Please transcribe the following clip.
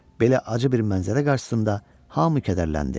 Belə acı bir mənzərə qarşısında hamı qədərləndi.